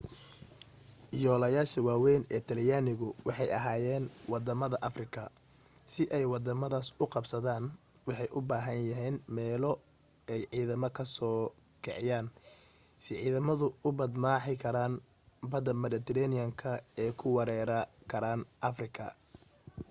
yoolasha waawayn ee talyaanigu waxay ahaayeen waddamada afrika si ay waddamadaas u qabsadaan waxay u baahanayeen meelo ay ciidamada ka soo kiciyaan si ciidamadu u badmaaxi karaan badda midhatareeniyanka oo u weerari karaan afrika